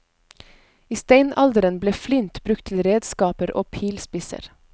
I steinalderen ble flint brukt til redskaper og pilspisser.